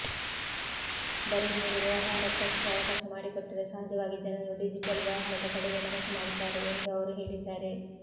ಬರೀ ಮೂರು ವ್ಯವಹಾರಕ್ಕಷ್ಟೇ ಅವಕಾಶ ಮಾಡಿಕೊಟ್ಟರೆ ಸಹಜವಾಗಿ ಜನರು ಡಿಜಿಟಲ್ ವ್ಯವಹಾರದ ಕಡೆಗೆ ಮನಸು ಮಾಡುತ್ತಾರೆ ಎಂದು ಅವರು ಹೇಳಿದ್ದಾರೆ